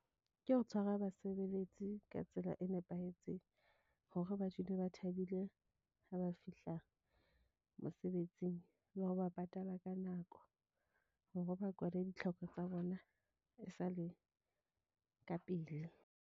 Ke ho tshwara basebeletsi ka tsela e nepahetseng hore ba dule ba thabile ha ba fihla mosebetsing. Le ho ba patala ka nako hore ba kwale ditlhoko tsa bona e sale ka pele.